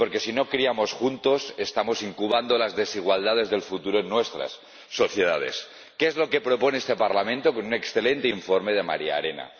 Y porque, si no criamos juntos, estamos incubando las desigualdades del futuro en nuestras sociedades. ¿Qué es lo que propone este Parlamento con un excelente informe de Maria Arena?